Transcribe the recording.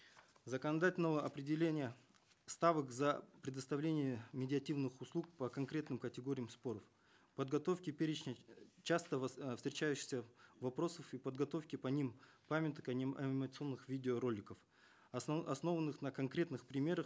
законодательного определения ставок за предоставление медиативных услуг по конкретным категориям споров подготовке перечня часто э встречающихся вопросов и подготовки по ним памяток анимационных видеороликов основанных на конкретных примерах